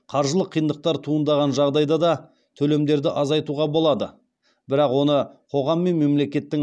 қаржылық қиындықтар туындаған жағдайда да төлемдерді азайтуға болады бірақ оны қоғам мен мемлекеттің